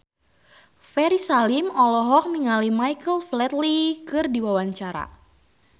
Ferry Salim olohok ningali Michael Flatley keur diwawancara